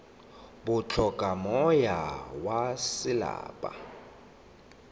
bo hloka moya wa selapa